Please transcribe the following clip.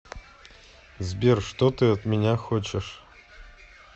сбер что ты от меня хочешь